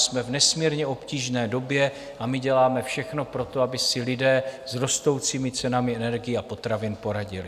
Jsme v nesmírně obtížné době a my děláme všechno pro to, aby si lidé s rostoucími cenami energií a potravin poradili.